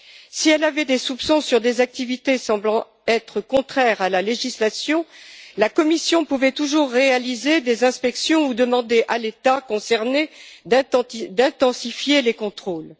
Si elle avait des soupçons sur des activités semblant être contraires à la législation, la Commission pouvait toujours réaliser des inspections ou demander à l'État concerné d'intensifier les contrôles.